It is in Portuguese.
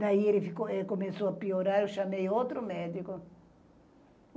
Daí ele começou a piorar e eu chamei outro médico.